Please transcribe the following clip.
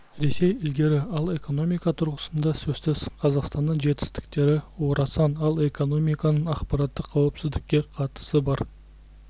ресей ілгері ал экономика тұрғысында сөзсіз қазақстанның жетістіктері орасан ал экономиканың ақпараттық қауіпсіздікке қатысы бар